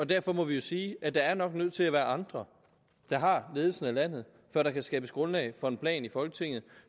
derfor må vi sige at der nok er nødt til at være andre der har ledelsen af landet før der kan skabes grundlag for en plan i folketinget